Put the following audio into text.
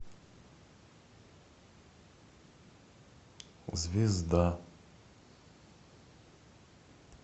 звезда